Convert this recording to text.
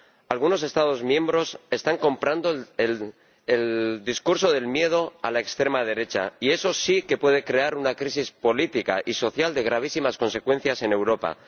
Algunos Estados miembros están comprando el discurso del miedo a la extrema derecha y eso sí que puede crear una crisis política y social de gravísimas consecuencias en Europa.